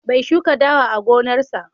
Bai shuka dawa a gonarsa.